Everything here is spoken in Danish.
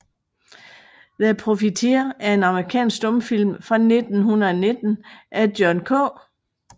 The Profiteer er en amerikansk stumfilm fra 1919 af John K